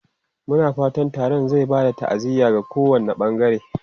Muna fatan taron zai ba da ta'aziyya ga kowane bangare.